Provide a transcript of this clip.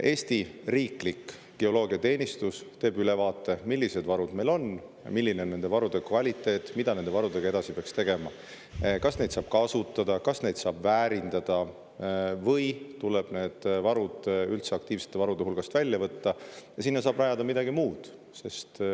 Eesti riiklik geoloogiateenistus teeb ülevaate, millised varud meil on, milline on nende varude kvaliteet ja mida nende varudega edasi peaks tegema, kas neid saab kasutada, kas neid saab väärindada või tuleb need varud üldse aktiivsete varude hulgast välja võtta ja siis saab rajada sinna peale midagi muud.